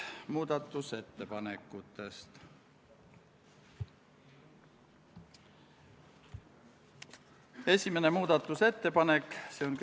Muudatusettepanekuid eelnõu kohta esitatud ei ole.